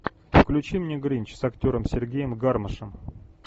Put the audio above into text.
включи мне гринч с актером сергеем гармашем